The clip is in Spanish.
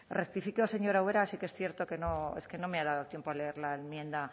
rectifico señora ubera sí que es cierto que no es que no me ha dado tiempo a leer la enmienda